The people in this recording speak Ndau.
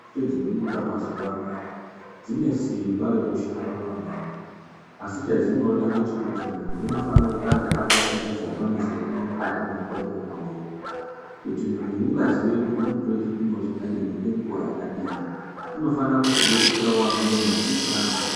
Mitombo dzinobuda mazuwa anaa dzine simba rwkushanda maningi asi chedzinoda ngechekuti muntu unofana kutanga ataticha zamanisi riri mukati mwemutombo wona uwowo kuti muntu ungaziye kuti unotore chipimo chakadini ngenguwa yakadini unofana kuzodetserawo amweni asina chaanoziya.